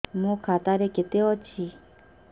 ମୋ ଖାତା ରେ କେତେ ଅଛି